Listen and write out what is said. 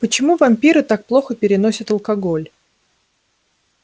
почему вампиры так плохо переносят алкоголь